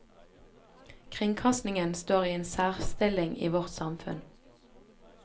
Kringkastingen står i en særstilling i vårt samfunn.